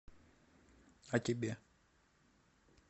а тебе